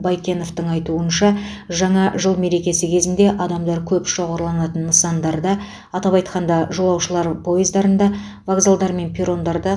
байкеновтың айтуынша жаңа жыл мерекесі кезінде адамдар көп шоғырланатын нысандарда атап айтқанда жолаушылар поездарында вокзалдар мен перрондарда